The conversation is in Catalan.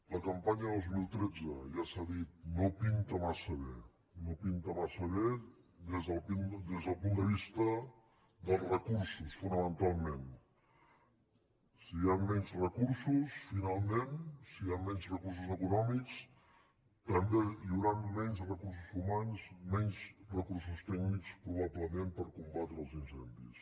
la campanya dos mil tretze ja s’ha dit no pinta massa bé no pinta massa bé des del punt de vista dels recursos fo·namentalment si hi han menys recursos finalment si hi han menys recursos econòmics també hi hauran menys recursos humans menys recursos tècnics pro·bablement per combatre els incendis